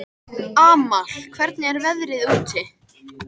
Amal, hvernig er veðrið úti?